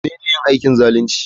Menene yin aikin zalunci?